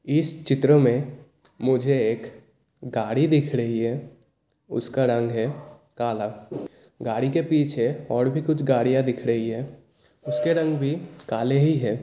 इस चित्र मे मुझे एक गाड़ी दिख रही हैं उसका रंग है काला गाड़ी के पीछे और भी कुछ गाड़ीया दिख रही हैं उसके रंग भी काले ही हैं।